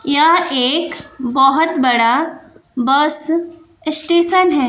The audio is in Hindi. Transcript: यह एक बहोत बड़ा बस स्टेशन हैं।